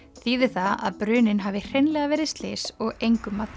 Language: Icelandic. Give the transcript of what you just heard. þýðir það að bruninn hafi hreinlega verið slys og engum að